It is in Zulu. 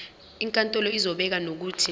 inkantolo izobeka nokuthi